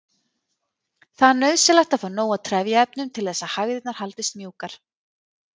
Það er nauðsynlegt að fá nóg af trefjaefnum til þess að hægðirnar haldist mjúkar.